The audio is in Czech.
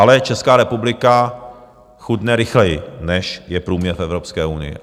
Ale Česká republika chudne rychleji, než je průměr v Evropské unii.